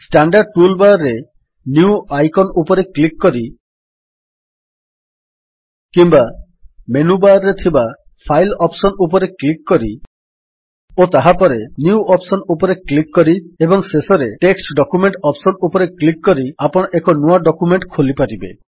standard tool bar ରେ new icon ଉପରେ click କରି କିମ୍ୱା ମେନୁ ବାର୍ ରେ ଥିବା ଫାଇଲ୍ ଅପ୍ସନ୍ ଉପରେ କ୍ଲିକ୍ କରି ଓ ତାହାପରେ ନ୍ୟୁ ଅପ୍ସନ୍ ଉପରେ କ୍ଲିକ୍ କରି ଏବଂ ଶେଷରେ ଟେକ୍ସଟ୍ ଡକ୍ୟୁମେଣ୍ଟ୍ ଅପ୍ସନ୍ ଉପରେ କ୍ଲିକ୍ କରି ଆପଣ ଏକ ନୂଆ ଡକ୍ୟୁମେଣ୍ଟ୍ ଖୋଲିପାରିବେ